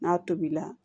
N'a tobila